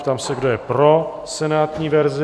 Ptám se, kdo je pro senátní verzi?